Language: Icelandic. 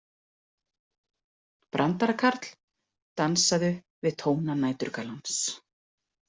Brandarakarl, dansaðu við tóna næturgalans.